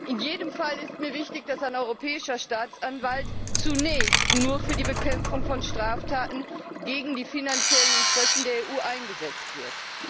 In jedem Fall ist mir wichtig, dass ein Europäischer Staatsanwalt zunächst nur für die Bekämpfung von Straftaten gegen die finanziellen Interessen der EU eingesetzt wird.